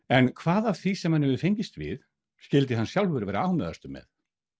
en hvað af því sem hann hefur fengist við skyldi hann sjálfur vera ánægðastur með